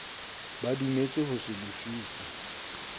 ba dumetse ho se lefise